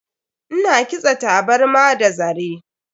Ina kitsa tabarma da zare.